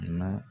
Na